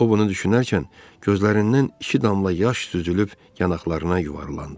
O bunu düşünərkən gözlərindən iki damla yaş süzülüb yanaqlarına yuvarlandı.